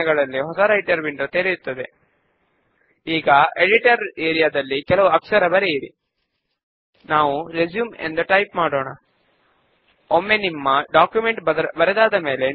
దీని కొరకు చెక్డిన్ క్రింద ఉన్న క్రైటీరియన్ కాలమ్ లో కోలమ్న్ ఈక్వల్స్ 0 అని టైప్ చేసి Enter ప్రెస్ చేద్దాము